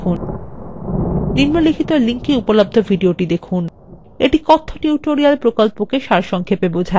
নিম্নলিখিত link এ উপলব্ধ ভিডিওটি দেখুন এটি কথ্য টিউটোরিয়াল প্রকল্পকে সারসংক্ষেপে বোঝায়